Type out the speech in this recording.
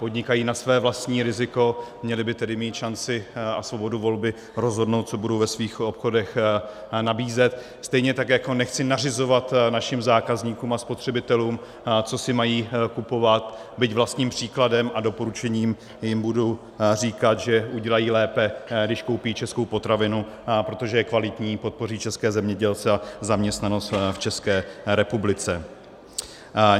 Podnikají na své vlastní riziko, měli by tedy mít šanci a svobodu volby rozhodnout, co budou ve svých obchodech nabízet, stejně tak jako nechci nařizovat našim zákazníkům a spotřebitelům, co si mají kupovat, byť vlastním příkladem a doporučením jim budu říkat, že udělají lépe, když koupí českou potravinu, protože je kvalitní, podpoří české zemědělce a zaměstnanost v České republice.